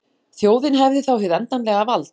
Þjóðin hefði þá hið endanlega vald